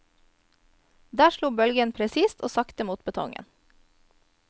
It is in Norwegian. Der slo bølgen presist og sakte mot betongen.